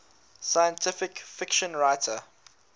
science fiction writer